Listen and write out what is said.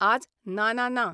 आज नाना ना.